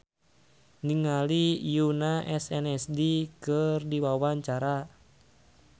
Nining Meida olohok ningali Yoona SNSD keur diwawancara